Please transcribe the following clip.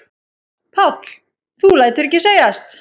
Páll: Þú lætur ekki segjast?